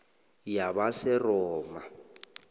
yabaseroma